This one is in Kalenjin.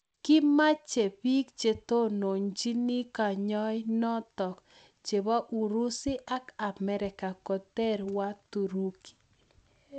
Kimachee piik chetononchini kayanchinoot notok chepoo urusi ak Amerika koter waturuki